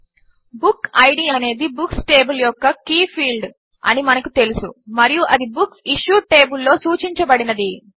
book id అనేది books table యొక్క key field అని మనకు తెలుసు మరియు అది బుక్సిష్యూడ్ టేబుల్ లో సూచించబడినది